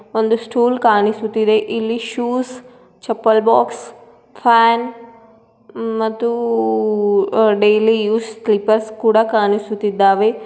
ಒಂದು ಸ್ಟೂಲ್ ಕಾಣಿಸುತ್ತಿದೆ ಇಲ್ಲಿ shoes chappal box fan hmm _ಮತ್ತು_ಉ _ಉ ಡೈಲಿ ಯೂಸ್ ಸ್ಲಿಪ್ಪರ್ಸ್ ಕೂಡ ಕಾಣಿಸುತ್ತಿದ್ದಾವೆ.